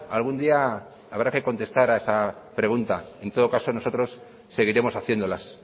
algún día habrá que contestar a esa pregunta en todo caso nosotros seguiremos haciéndolas